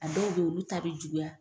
A dɔw be yen olu ta be juguya